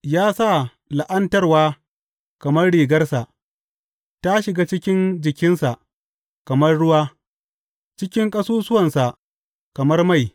Ya sa la’antarwa kamar rigarsa; ta shiga cikin jikinsa kamar ruwa, cikin ƙasusuwansa kamar mai.